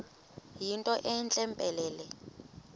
yinto entle mpelele